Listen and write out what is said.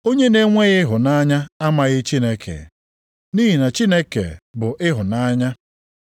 Onye na-enweghị ịhụnanya amaghị Chineke, nʼihi na Chineke bụ ịhụnanya.